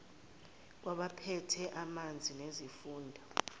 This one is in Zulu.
kwabaphethe ezamanzi nesifunda